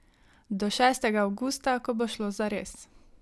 Do šestega avgusta, ko bo šlo zares.